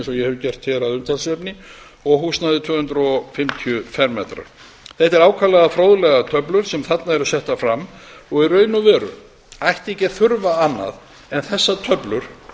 hef gert hér að umtalsefni og húsnæði tvö hundruð fimmtíu fermetrar þetta eru ákaflega fróðlegar töflur sem þarna eru settar fram og í raun og veru ætti ekki að þurfa annað en þessar töflur